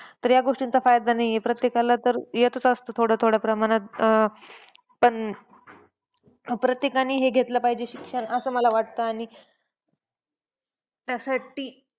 तर या गोष्टींचा फायदा नाही आहे. प्रत्येकाला तर येतच असतं थोड्या-थोड्या प्रमाणात अं पण प्रत्येकाने हे घेतलं पाहिजे शिक्षण असं मला वाटतं आणि त्यासाठी,